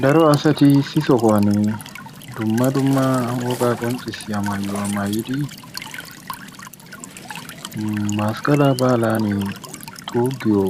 Daro asati issi sohuwan dumma dumma wogaa qonccissiya maayuwa maayidi masqqalaa baalaani xuuggiyo